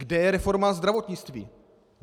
Kde je reforma zdravotnictví?